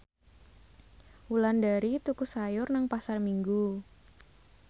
Wulandari tuku sayur nang Pasar Minggu